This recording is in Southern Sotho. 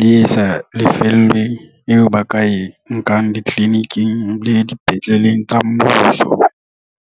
le e sa lefellweng eo ba ka e nkang ditliliniking le dipetleleng tsa mmuso.